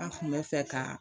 An kun bɛ fɛ ka